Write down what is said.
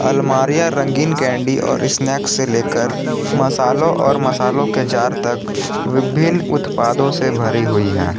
अलमारियां रंगीन कैंडी और स्नेक से लेकर मसालों और मसालों के जार तक विभिन्न उत्पादों से भरी हुई है।